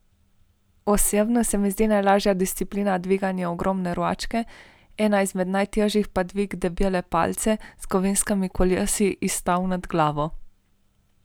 Osebno se mi zdi najlažja disciplina dviganje ogromne ročke, ena izmed najtežjih pa dvig debele palice s kovinskimi kolesi iz tal nad glavo.